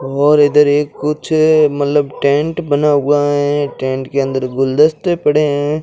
और इधर एक कुछ मल्लब टेंट बना हुआ है टेंट के अंदर गुलदस्ते पड़े हैं।